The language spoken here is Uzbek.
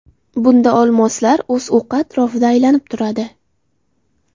Bunda olmoslar o‘z o‘qi atrofida aylanib turadi.